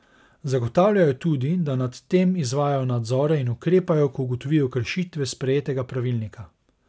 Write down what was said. Zagotavljajo tudi, da nad tem izvajajo nadzore in ukrepajo, ko ugotovijo kršitve sprejetega pravilnika.